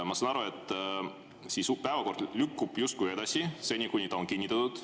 Ma saan aru, et päevakord justkui lükkub edasi seni, kuni ta on kinnitatud.